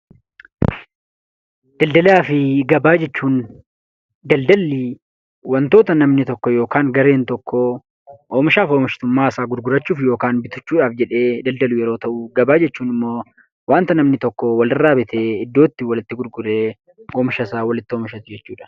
Daldalaa fi gabaa jechuun, daldallii wantoota namni tokkoo yokaan gareen tokkoo oomishaaf oomishtummaasaa gurgurachuuf yookan bitachuudhaaf jedhee daldalu yeroo ta'uu gabaa jechuun ammoo waanta namni tokkoo walirraa bitee iddootti walitti gurguree oomishasaa walitti oomishatu jechuudha.